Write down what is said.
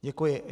Děkuji.